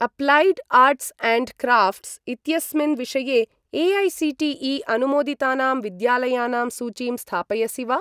Applied arts and crafts इत्यस्मिन् विषये AICTE. अनुमोदितानां विद्यालयानां सूचीं स्थापयसि वा?